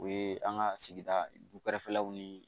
O ye an ka sigida dukɛrɛfɛlaw ni